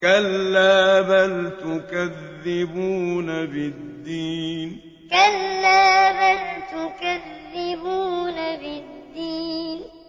كَلَّا بَلْ تُكَذِّبُونَ بِالدِّينِ كَلَّا بَلْ تُكَذِّبُونَ بِالدِّينِ